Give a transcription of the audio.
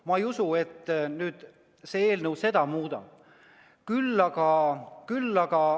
Ma ei usu, et see eelnõu nüüd muudab.